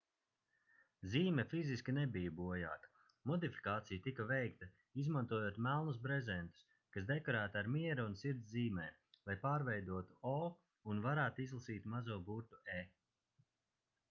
zīme fiziski nebija bojāta modifikācija tika veikta izmantojot melnos brezentus kas dekorēti ar miera un sirds zīmēm lai pārveidotu o un varētu izlasīt mazo burtu e